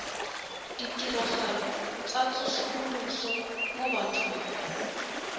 ditirelo tsa tsosoloso mo bathong